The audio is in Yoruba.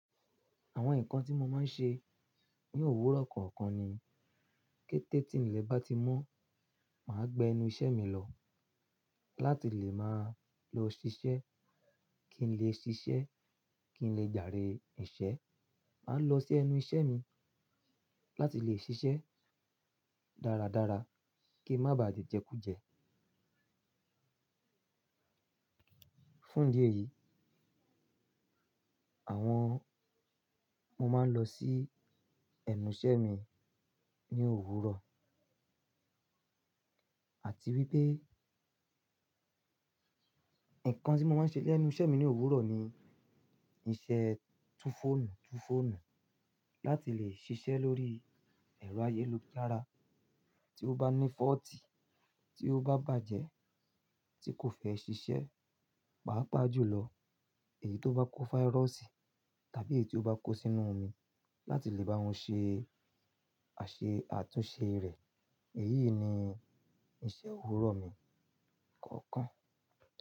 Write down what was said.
Àwọn nǹkan tí mo máa ń ṣe ní òwúrọ̀ kọ̀ọ̀kan ni kété tí ilẹ̀ bá ti mọ́, màá gbé ẹnu iṣẹ́ mi lọ láti lè máa lọ ṣiṣẹ́. Kí n lè ṣiṣẹ́, kí n lè jarè ìṣe, màá lọ sí ẹnu iṣẹ́ mi láti lè ṣiṣẹ́ dáradára kí n má ba à je jẹkújẹ. Fún idi eyìí, àwọn, mo máa ń lọ sí ẹnu iṣẹ́ mi ní òwúrọ̀ àti wípé nǹkan tí mo máa ń ṣe lé ẹnu iṣẹ́ mi ní òwúrọ̀ ni iṣẹ́ túfọ̀nù túfọ̀nù láti lè ṣiṣẹ́ lórí ẹ̀rọ ayélujára. Tí ó bá ní fọ́ọ̀tì, tí ó bá bàjẹ́, tí kò fẹ́ ṣiṣẹ́, paa pá jùlọ. Èyí tó bá kó fáírọ́ọ̀sì tàbí èyí tó bá kó sínú omi láti lè bá won ṣe àṣẹ àtúnṣe rẹ̀, èyí ni iṣẹ́ òwúrọ̀ mi kọ̀ọ̀kan.